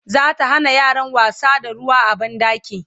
zata Hana yaran wasa da ruwa a banɗaki